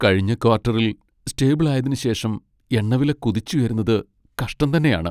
കഴിഞ്ഞ ക്വാട്ടറിൽ സ്റ്റേബിൾ ആയതിനു ശേഷം എണ്ണവില കുതിച്ചുയരുന്നത് കഷ്ടം തന്നെയാണ്.